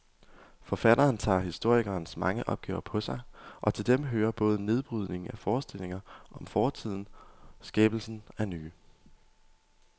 Forfatteren tager historikerens mange opgaver på sig, og til dem hører både nedbrydningen af forestillinger om fortiden skabelsen af nye.